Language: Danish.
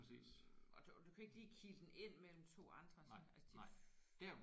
Og og du kan ikke lige kile den ind mellem to andre så altså det jo